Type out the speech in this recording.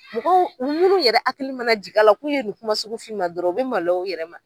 Mɔgɔ munnu yɛrɛ hakili mana jigin la k'u ye nin kuma sugu fɔ i ma dɔrɔn, u bi maloya u yɛrɛ ma.